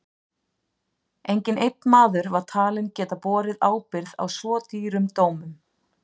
Enginn einn maður var talinn geta borið ábyrgð á svo dýrum dómum.